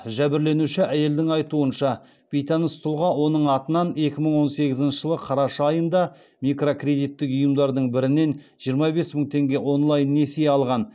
жәбірленуші әйелдің айтуынша бейтаныс тұлға оның атынан екі мың он сегізінші жылы қараша айында микрокредиттік ұйымдардың бірінен жиырма бес мың теңге онлайн несие алған